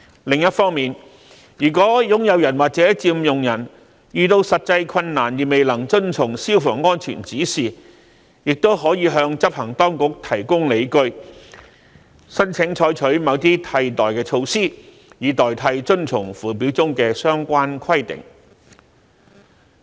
另一方面，如果擁有人或佔用人遇到實際困難而未能遵從消防安全指示，亦可以向執行當局提供理據，申請採取某些替代措施，以代替遵從附表中的相關規定。